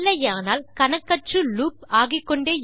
இல்லையானால் கணக்கற்று லூப் ஆகிக்கொண்டே இருக்கும்